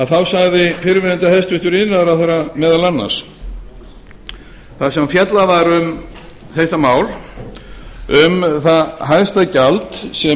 þá sagði fyrrverandi hæstvirtur iðnaðarráðherra meðal annars þar sem fjallað var um þetta mál um það hæsta gjald sem gæti orðið